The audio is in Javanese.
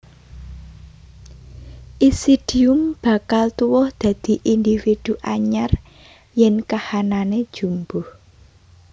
Isidium bakal tuwuh dadi individu anyar yèn kahanané jumbuh